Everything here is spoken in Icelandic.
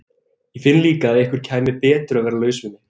Ég finn líka að ykkur kæmi betur að vera laus við mig.